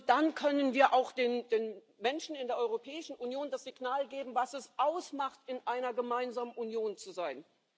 Nur dann können wir auch den Menschen in der Europäischen Union das Signal geben, was es ausmacht, in einer gemeinsamen Union zu sein.